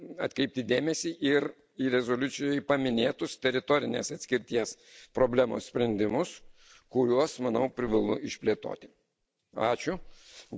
Be to, būtina atkreipti dėmesį ir į rezoliucijoje paminėtus teritorinės atskirties problemos sprendimus, kuriuos, manau, privalu išplėtoti.